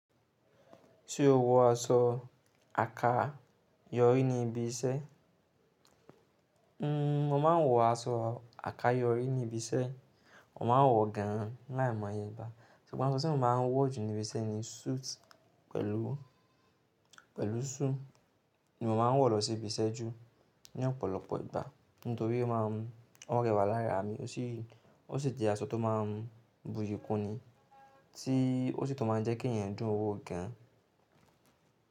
Tí o wo aṣọ àkáyọrí ní ibi iṣẹ́, hmm mo ma ń wọ aṣọ àkáyọrí ní ibi iṣẹ́, mo ma ń wọ gan láìmọ̀ayé igba, ṣùgbọ́n aṣọ tí mo máa ń wọ jù ní ibi iṣẹ́ ni suit pẹ̀lú, pẹ̀lú shoe ni mo ma ń wọ lọ sí ibi iṣẹ́ jù ní ọ̀pọ̀lọpọ̀ ìgbà. Nítorí ó máa ń o rẹwà láraa mi ó sì, ó sì jẹ́ aṣọ tó máa ń buyi kúnni tí ó sì tun máa ń jẹ́ kí ẹ̀yàn dún wo gan.